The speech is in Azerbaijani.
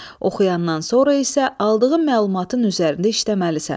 Oxuyandan sonra isə aldığın məlumatın üzərində işləməlisən.